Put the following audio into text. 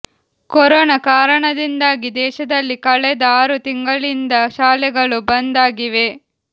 corona ಕಾರಣದಿಂದಾಗಿ ದೇಶದಲ್ಲಿ ಕಳೆದ ಆರು ತಿಂಗಳಿಂದ ಶಾಲೆಗಳು ಬಂದ್ ಆಗಿವೆ